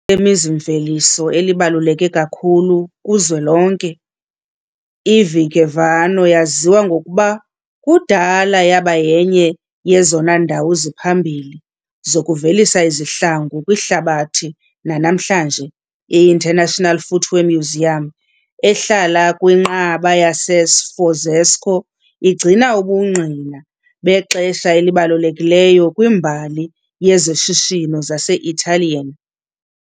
lemizi-mveliso elibaluleke kakhulu kuzwelonke, iVigevano yaziwa ngokuba kudala yaba yenye yezona ndawo ziphambili zokuvelisa izihlangu kwihlabathi. Nanamhlanje, i- International Footwear Museum, ehlala kwiNqaba yaseSforzesco, igcina ubungqina bexesha elibalulekileyo kwimbali yezoshishino zase-Italian.